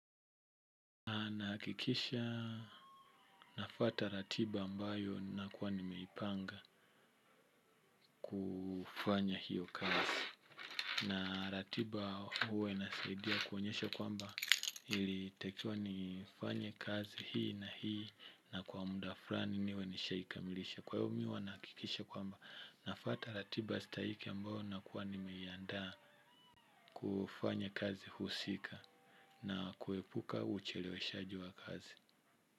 Nahakikisha nafuata ratiba ambayo nakuwa nimeipanga kufanya hiyo kazi. Na ratiba huwainasaidia kuonyesha kwamba ilitakiwa nifanya kazi hii na hii na kwa muda fulani niwe nishaikamilisha. Kwa hivyo mimi huwa nahakikisha kwamba nafata ratiba stahike ambayo nakuwa nimeiandaa kufanya kazi husika na kuepuka ucheleweshaji wa kazi.